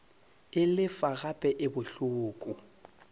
e lefa gape e bohloko